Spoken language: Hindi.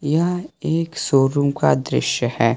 यह एक शोरूम का दृश्य है।